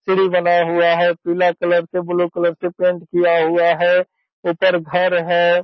सीढ़ी बना हुआ है पीले कलर से बलू कलर से पेंट किया हुआ है ऊपर घर है।